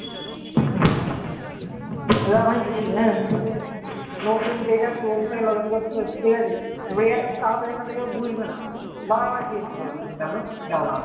chrome থেকে log in করতে হচ্ছে ঠিক আছে তারা তারি বুঝবে না বার বার জিজ্ঞাসা করবে এটা জ্বালা